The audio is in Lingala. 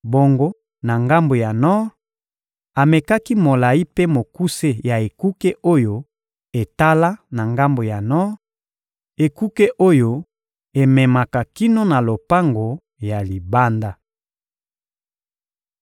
Bongo na ngambo ya nor, amekaki molayi mpe mokuse ya ekuke oyo etala na ngambo ya nor, ekuke oyo ememaka kino na lopango ya libanda.